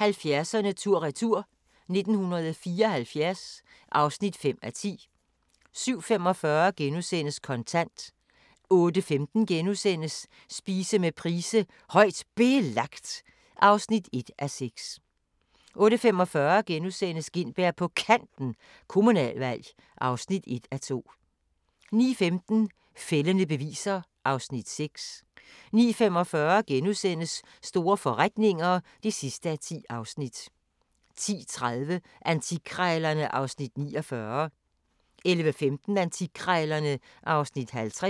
70'erne tur-retur: 1974 (5:10) 07:45: Kontant * 08:15: Spise med Price: "Højt Belagt" (1:6)* 08:45: Gintberg på Kanten – Kommunalvalg (1:2)* 09:15: Fældende beviser (Afs. 6) 09:45: Store forretninger (10:10)* 10:30: Antikkrejlerne (Afs. 49) 11:15: Antikkrejlerne (Afs. 50)